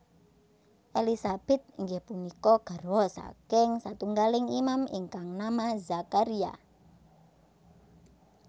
Elisabet inggih punika garwa saking satunggaling Imam ingkang nama Zakharia